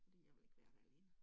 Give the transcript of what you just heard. Fordi jeg vil ikke være der alene